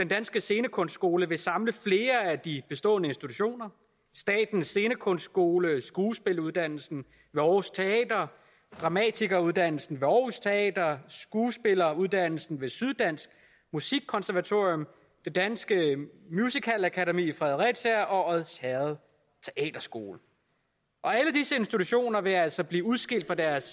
danske scenekunstskole vil samle flere af de bestående institutioner statens scenekunstskole skuespilleruddannelsen ved aarhus teater dramatikeruddannelsen ved aarhus teater skuespilleruddannelsen ved syddansk musikkonservatorium det danske musicalakademi fredericia og odsherred teaterskole alle disse institutioner vil altså blive udskilt fra deres